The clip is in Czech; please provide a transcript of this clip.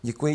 Děkuji.